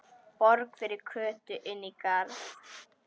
Borg fyrir Kötu inní garði.